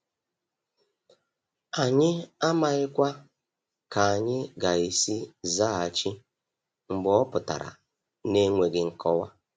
Anyị amaghikwa ka anyị ga-esi zaghachi mgbe ọ pụtara na-enweghị nkọwa.